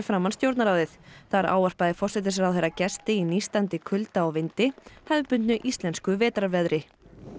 framan Stjórnarráðið þar ávarpaði forsætisráðherra gesti í nístandi kulda og vindi hefðbundnu íslensku vetrarveðri